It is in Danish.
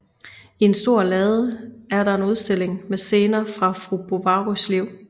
I en stor lade er der en udstilling med scener fra fru Bovarys liv